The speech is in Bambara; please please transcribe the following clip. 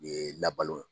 Ye labalo